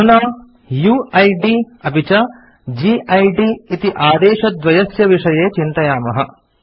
अधुना यूआईडी अपि च गिद् इति आदेशद्वयस्य विषये चिन्तयामः